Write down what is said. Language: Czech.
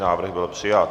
Návrh byl přijat.